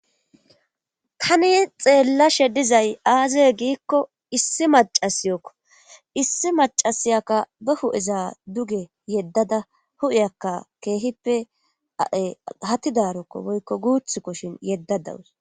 tani xeellashe dizay aazaye giikko issi macasiyookko issi macasiyakka ba hu7eza duge yeddada hu7iyakka keehippe a7e hatidarokko woykko guuthkko shin yedda dawus